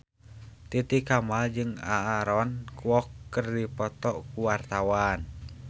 Titi Kamal jeung Aaron Kwok keur dipoto ku wartawan